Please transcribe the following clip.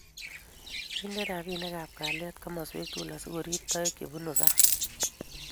Kindeni ripik ab kalyet komoswek tukul asikorip toek che bunu sang